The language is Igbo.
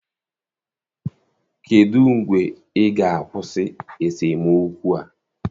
Kedụ mgbe ị ga-akwụsị esemokwu a?